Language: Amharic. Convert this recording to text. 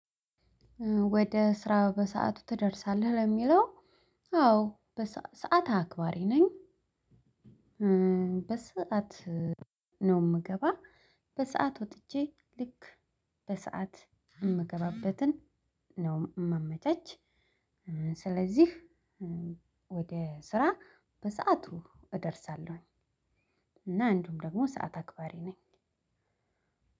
ወደ ስራ በሰአቱ ትደርሳለህ ለሚለው? አዎ በ ሰዓት አክባሪ ነኝ። በሰአት ነው የምገባ በሰአት ወጥቼ ልክ በሰአት እምገባበትን ነው የማመቻች። ስለዚህ ወደ ስራ በሰአቱ እደርሳለሁኝ። እና አንዱሁም ደግሞ ሰዓት አክባሪ ነኝ